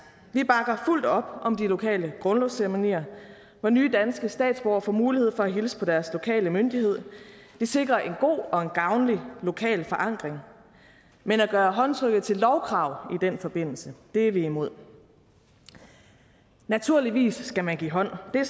vi bakker fuldt op om de lokale grundlovsceremonier hvor nye danske statsborgere får mulighed for at hilse på deres lokale myndighed det sikrer en god og en gavnlig lokal forankring men at gøre håndtrykket til lovkrav i den forbindelse er vi imod naturligvis skal man give hånd det er